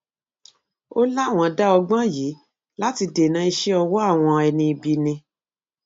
ó láwọn dá ọgbọn yìí láti dènà iṣẹ ọwọ àwọn ẹni ibi ni